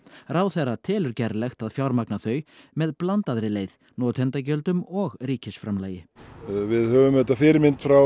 ráðherra telur gerlegt að fjármagna þau með blandaðri leið notendagjöldum og ríkisframlagi við höfum fyrirmynd frá